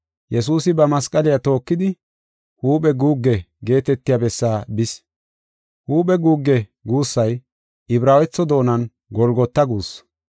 Yesuusi ba masqaliya tookidi, “Huuphe guugge” geetetiya bessaa bis. “Huuphe guugge” guussay Ibraawetho doonan “Golgota” guussu.